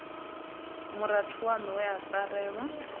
murathu waṋu we a farelwa